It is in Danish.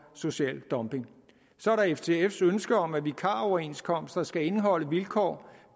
social dumping så er der ftfs ønske om at vikaroverenskomster skal indeholde vilkår